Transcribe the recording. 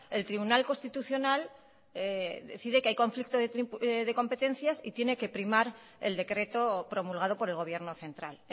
el tribunal constitucional decide que hay conflicto de competencias y tiene que primar el decreto promulgado por el gobierno central